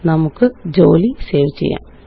നമുക്ക് ജോലി സേവ് ചെയ്യാം